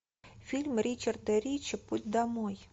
фильм ричарда ричи путь домой